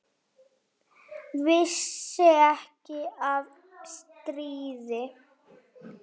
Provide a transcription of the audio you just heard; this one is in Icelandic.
Vissi ekki af stríði.